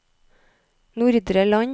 Nordre Land